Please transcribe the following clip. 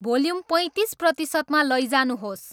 volume पैँतिस प्रतिशतमा लैजानुहोस्